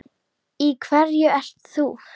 Í hverju ert þú?